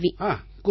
ஹாங் கூறுங்கள்